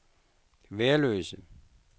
Værløse